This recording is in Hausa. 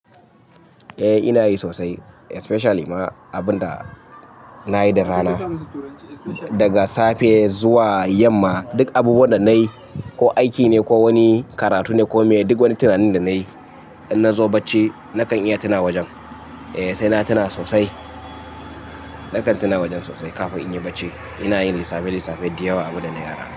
Eh ina yi sosai especially ma abunda na yi da rana. Daga safe zuwa yamma duk abubuwan da nayi ko aiki ne ko wani karatu ne ko me duk wani tunanin da nayi in nazo bacci nakan iya tuna wajen. Eh sai na tuna sosai. Nakan tuna wajen sosai kafin in yi bacci. Ina yin lissafe-lissafe da yawa abunda na yi rana.